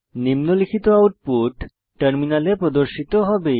নিম্নলিখিত আউটপুট টার্মিনালে প্রদর্শিত হবে